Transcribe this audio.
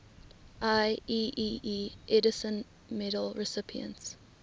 ieee edison medal recipients